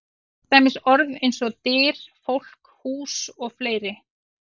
Til dæmis orð eins og: Dyr, fólk, hús og fleiri?